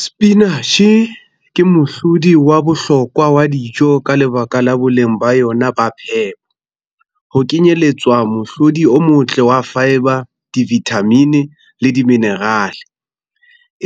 Sepinatjhe ke mohlodi wa bohlokwa wa dijo ka lebaka la boleng ba yona ba phepo. Ho kenyelletswa mohlodi o motle wa fibre, di-vitamin-e le di-mineral-e.